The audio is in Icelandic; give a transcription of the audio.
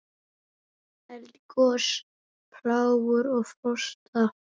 Eldgos, plágur og frosta